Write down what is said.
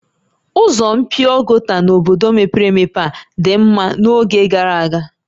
Ụzọ mpio gota n'obodo mepere emepe a dị mma n'oge gara aga?